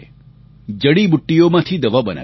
જડીબૂટ્ટીઓમાંથી દવા બનાવી છે